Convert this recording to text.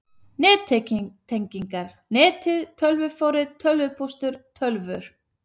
NETTENGINGAR, NETIÐ, TÖLVUFORRIT, TÖLVUPÓSTUR, TÖLVUR